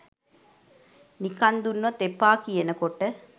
නිකං දුන්නත් එපා කියනකොට